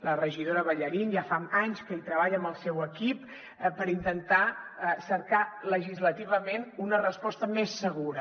la regidora ballarín ja fa anys que hi treballa amb el seu equip per intentar cercar legislativament una resposta més segura